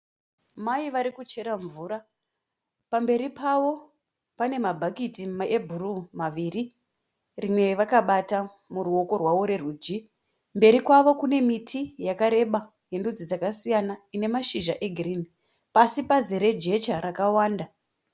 Mai varikuchera mvura. Pamberi pavo panemabuckets ebhuruu rimwe vakavata kuruoko rwerudyi. Mberi kwavo kune miti yakawanda uye pasi pane jecha